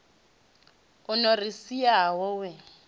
o no ri siaho we